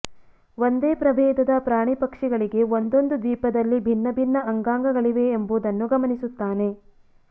ಒಂದೇ ಪ್ರಭೇದದ ಪ್ರಾಣಿಪಕ್ಷಿಗಳಿಗೆ ಒಂದೊಂದು ದ್ವೀಪದಲ್ಲಿ ಭಿನ್ನ ಭಿನ್ನ ಅಂಗಾಂಗಗಳಿವೆ ಎಂಬುದನ್ನು ಗಮನಿಸುತ್ತಾನೆ